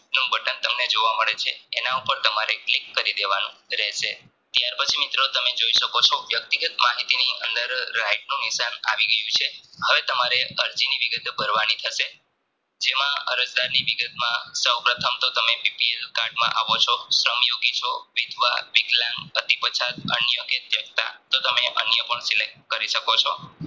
જેમાં અરજદારની વિગતમાં સ્વપ્રથમ તો તમે BPL card માં આવો છો શ્રમ યોગી છો વિધવા વિકલાંગ પતિ પછાત અન્યકે તો તમે અન્ય પણ Select કરી શકો છો